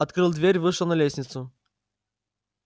открыл дверь вышел на лестницу